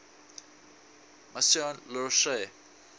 maison la roche